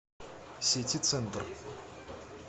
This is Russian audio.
ситицентр